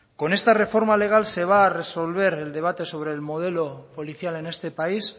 con esta reforma legal se va a resolver el debate sobre el modelo policial en este país